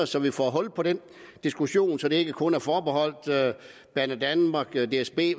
så vi får hul på den diskussion og så det ikke kun er forbeholdt banedanmark dsb